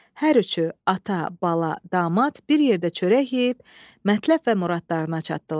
Hər üçü ata, bala, damad bir yerdə çörək yeyib, mətləb və muradlarına çatdılar.